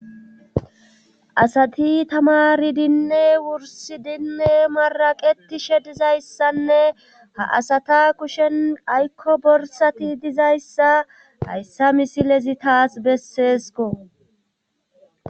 asati tamari dinne wursi dinne maraqetishe dizayssanne ha asata kushen aykko borsati dizayssa hayssa misilezi taas besseesko